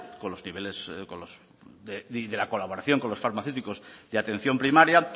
y de la colaboración con los farmacéuticos de atención primaria